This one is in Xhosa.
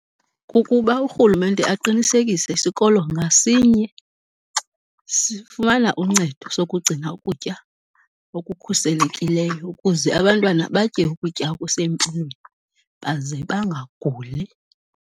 Kukuba urhulumente aqinisekise sikolo ngasinye sifumana uncedo sokugcina ukutya okukhuselekileyo ukuze abantwana batye ukutya okusempilweni baze bangaguli.